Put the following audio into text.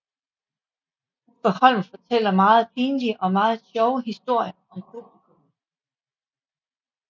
Uffe Holm fortæller meget pinlige og meget sjove historier om publikummet